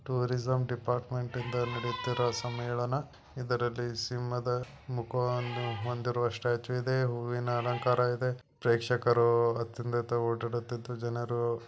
tourism department ಇಂದ ನಡುತ್ತಿರ ಸಮ್ಮೇಳನ ಇದರಲ್ಲಿ ಸಿಂಹದ ಮುಖವಂದು ಒಂದಿರುವ ಸ್ಟಾಚು